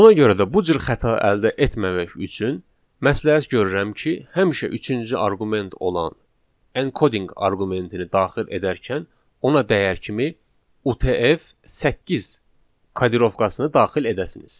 Ona görə də bu cür xəta əldə etməmək üçün məsləhət görürəm ki, həmişə üçüncü arqument olan encoding arqumentini daxil edərkən ona dəyər kimi UTF-8 kodirovkasını daxil edəsiniz.